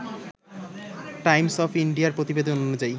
Times of ইন্ডিয়ার প্রতিবেদন অনুযায়ী